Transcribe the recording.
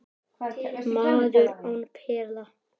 Maður án pela